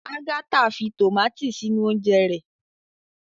Agatha fí tomati sínú oúnje rẹ